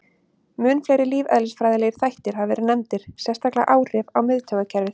Mun fleiri lífeðlisfræðilegir þættir hafa verið nefndir, sérstaklega áhrif á miðtaugakerfið.